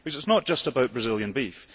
It is not just about Brazilian beef.